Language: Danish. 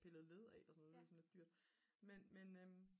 pillet led af og sådan noget det er sådan lidt dyrt men